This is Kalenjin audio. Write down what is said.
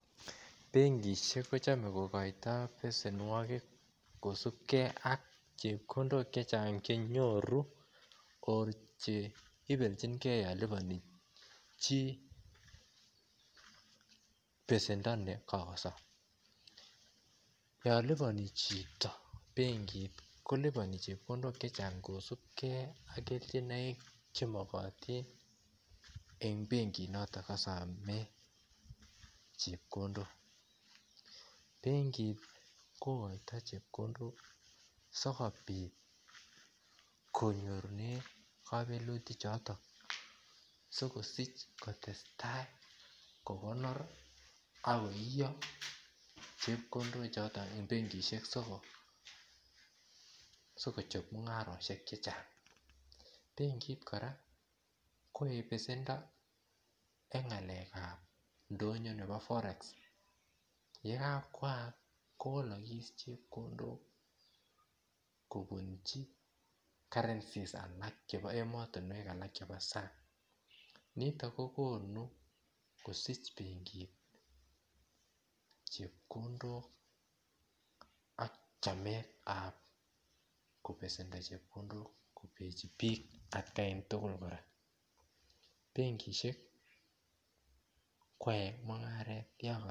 Bengisiek kochome kogoito besenuwokik kosubgei ak chepkondok chechang chenyoru kocheibeljingei yon liponi chi ewbesendo nikokosom yo liponi chito bengit kolipo chepkondok chechang kosubgei ak keljinoik chemokotin en benginoto kosomen chepkondok bengit kogoito chepkondok sikobit kenyorunen kobeluti sikosij kotestai kokonor ak koiyo chepkondok choton en bengisiek siko chob mungarosiek chechang bengit kora koen besendo en ngalekab indonyo nebo foreks yekekoal kowalokis chepkondok kobuji karensis alak chebo emotinwek alak sang niton kokochin kosich bengit chepkondok ak chametab kobesento chepkondok kobesenji biik atkantugul kora bengisiek koyoe boisiet